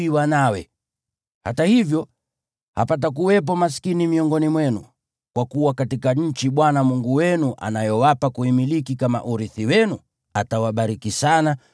Hata hivyo, hapatakuwepo maskini miongoni mwenu, kwa kuwa katika nchi Bwana Mungu wenu anayowapa kuimiliki kama urithi wenu, atawabariki sana,